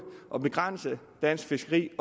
og begrænse dansk fiskeri